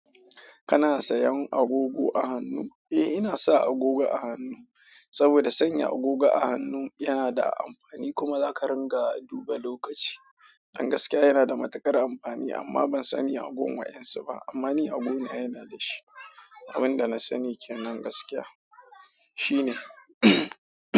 Kana sayan agogo a hannu? Eh, ina sa agogo a hannu saboda sanya agogo a hannu yana da amfani kuma zaka ringa duba lokaci. Hakan gaskiya yana da matuƙar amfani amma ban sani a gun waɗansu ba. Amma ni a wajena yana dashi. Abinda na sani kenan gaskiya. Shine.